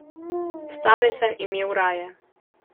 Stare sem imel raje.